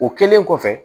O kɛlen kɔfɛ